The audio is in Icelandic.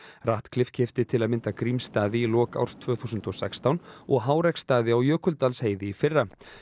ratcliffe keypti til að mynda Grímsstaði í lok árs tvö þúsund og sextán og á Jökuldalsheiði í fyrra